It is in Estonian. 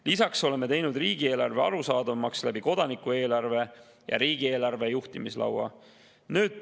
Lisaks oleme teinud riigieelarve arusaadavamaks kodanikueelarve ja riigieelarve juhtimislaua abil.